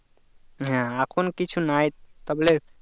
হ্যাঁ এখন কিছু নাই তা বলে